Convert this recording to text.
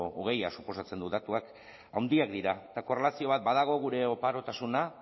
hogeia suposatzen du datuak handiak dira eta korrelazio bat badago gure oparotasuna